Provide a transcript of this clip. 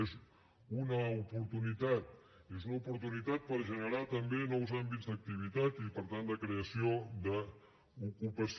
és una oportunitat és una oportunitat per generar també nous àmbits d’activitat i per tant de creació d’ocupació